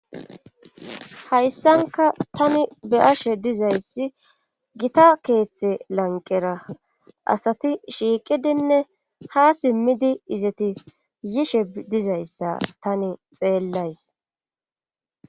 Hayssanka tani beyashe dizayssi gita keeththe lanqera asati shiiqidinne ha simmidi izeti yishe dizayssa tani xeellays.